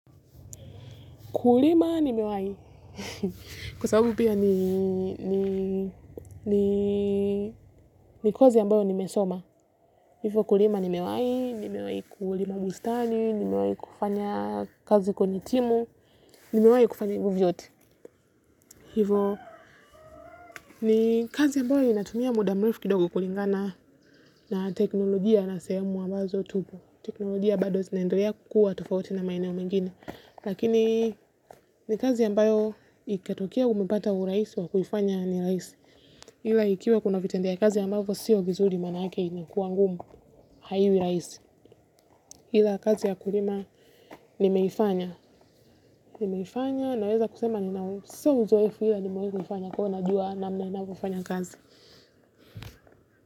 Kulima ni mewai kwa sababu pia ni kwazi ambao nimesoma. Kulima ni mewai, ni mewai kuulima bustani, ni mewai kufanya kazi kwenye timu, ni mewai kufanya hivyo vyote. Hivyo ni kazi ambayo inatumia muda mrefu kidogo kulingana na teknolojia na sehemu ambazo tupo. Teknolojia bado zinendalia kukua tofauti na maeneo mengine. Lakini ni kazi ambayo ikatokea hunipata uraisi wakuifanya ni rahisi ila ikiwa kuna vitendia kazi amavo siyo vizuri manake inakua ngumu haiwi raisi ila kazi ya kulima nimeifanya nimeifanya naweza kusema ni na sio uzoefu ila ni mwekuifanya kwa na jua namna na wafanya kazi.